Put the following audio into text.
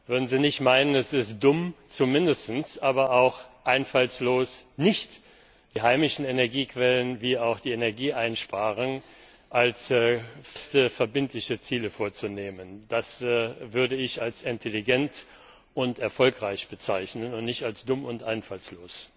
Würden Sie nicht meinen, es ist dumm, zumindest aber auch einfallslos, sich nicht die heimischen Energiequellen wie auch die Energieeinsparung als feste, verbindliche Ziele vorzunehmen? Das würde ich als intelligent und erfolgreich bezeichnen und nicht als dumm und einfallslos.